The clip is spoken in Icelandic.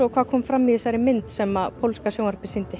hvað kom fram í þessari mynd sem pólska sjónvarpið sýndi